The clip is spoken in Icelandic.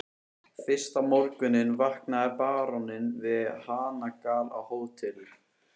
Fyrsta morguninn vaknaði baróninn við hanagal á Hótel